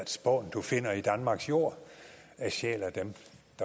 spån du finder i danmarks jorder sjæl af dem